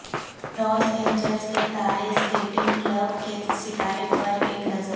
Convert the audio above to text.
لاس Angeles تارے skating club کے ستارے پر ایک نظر